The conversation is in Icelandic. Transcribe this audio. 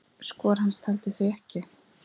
Skor hans taldi því ekki.